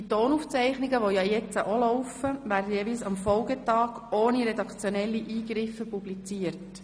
Die Tonaufzeichnungen, die jetzt auch laufen, werden jeweils am Folgetag ohne redaktionelle Eingriffe publiziert.